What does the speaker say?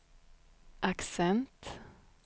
accent